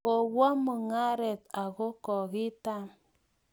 kowo mung'aret ako kokitam